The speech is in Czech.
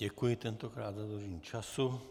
Děkuji tentokrát za dodržení času.